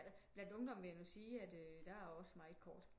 Bland ungdommen vil jeg nu sige der også meget kort